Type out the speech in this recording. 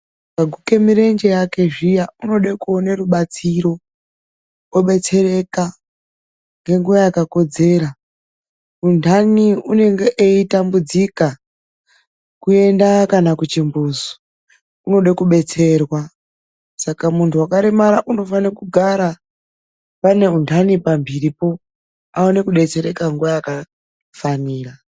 Waguke mirenje yake zviya, unode kuona rubatsiro obetsereka ngenguwa yakakodzera. Untani unonge eitambudzika kuenda kuchimbuzi unode kubetserwa. Saka muntu waremara unofane kugara neuntani pamhiripo kuti aone kubetsereka nenguva yakafanira.